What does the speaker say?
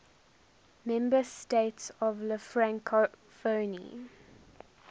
member states of la francophonie